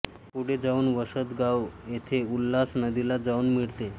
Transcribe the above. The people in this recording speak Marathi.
पुढे जाऊन वसत गाव येथे उल्हास नदीला जाऊन मिळते